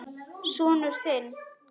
Sonur þinn.